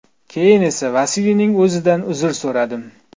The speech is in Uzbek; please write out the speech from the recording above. Keyin esa Vasiliyning o‘zidan uzr so‘radim.